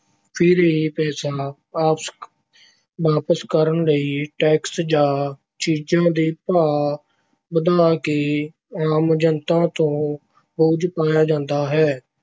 ਫਿਰ ਇਹ ਪੈਸਾ ਵਾਪਸ ਕਰਨ ਲਈ ਟੈਕਸ ਜਾਂ ਚੀਜ਼ਾਂ ਦੇ ਭਾਅ ਵਧਾ ਕੇ ਆਮ ਜਨਤਾ ਤੋਂ ਬੋਝ ਪਾਇਆ ਜਾਂਦਾ ਹੈ।